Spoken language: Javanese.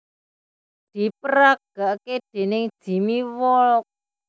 Diperagake déning Jimmy Wolk